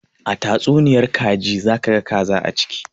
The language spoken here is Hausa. A tastunniyar kaji za ka ga kaza a ciki